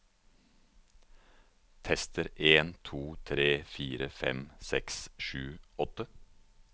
Tester en to tre fire fem seks sju åtte